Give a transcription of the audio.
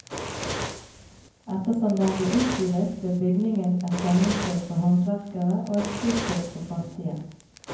Ettersom den ble utvidet, ble bygningen et samlingssted for håndverkere og et fristed for fattige.